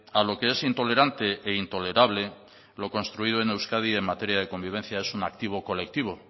a lo que es intolerante e intolerable lo construido en euskadi en materia de convivencia es una activo colectivo